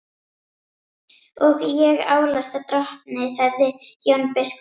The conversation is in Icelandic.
Og ég álasa drottni, sagði Jón biskup.